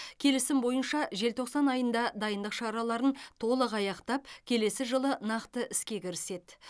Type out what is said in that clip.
келісім бойынша желтоқсан айында дайындық шараларын толық аяқтап келесі жылы нақты іске кіріседі